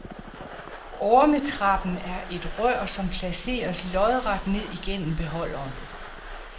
Ormetrappen er et rør, som placeres lodret ned igennem beholderen.